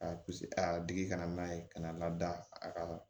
A a digi kana n'a ye ka n'a lada a ka